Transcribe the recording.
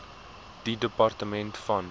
die departement van